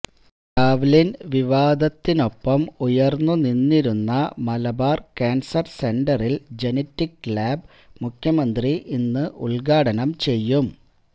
Lavalin വിവാദത്തിനൊപ്പം ഉയര്ന്നു നിന്നിരുന്ന മലബാര് കാന്സര് സെന്ററില് ജനറ്റിക് ലാബ് മുഖ്യമന്ത്രി ഇന്ന് ഉദ്ഘാടനം ചെയ്യും